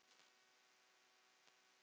En hver er þín skoðun?